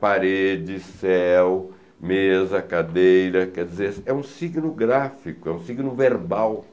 Parede, céu, mesa, cadeira, quer dizer, é um signo gráfico, é um signo verbal.